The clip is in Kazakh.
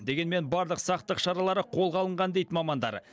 дегенмен барлық сақтық шарасы қолға алынған дейді мамандар